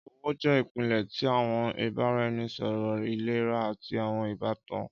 Ọwọ jẹ ipilẹ ti awọn ibaraẹnisọrọ ilera ati awọn ibatan.